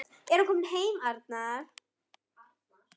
Er hann kominn heim hann Arnar?